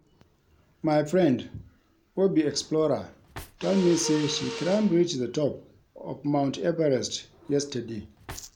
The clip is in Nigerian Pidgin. My friend wey be explorer tell me say she climb reach the top of mount Everest yesterday